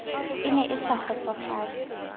e ne e sa kgotsofatse